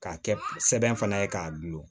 K'a kɛ sɛbɛn fana ye k'a dulon